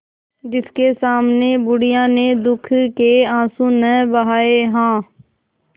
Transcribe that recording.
जिसके सामने बुढ़िया ने दुःख के आँसू न बहाये हां